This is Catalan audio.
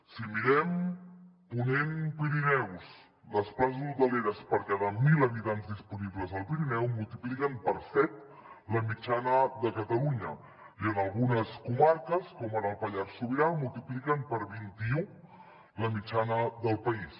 si mirem ponent pirineus les places hoteleres per cada mil habitants disponibles al pirineu multipliquen per set la mitjana de catalunya i en algunes comarques com ara el pallars sobirà multipliquen per vint i u la mitjana del país